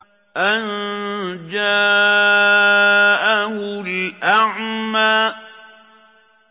أَن جَاءَهُ الْأَعْمَىٰ